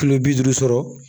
Kilo bi duuru sɔrɔ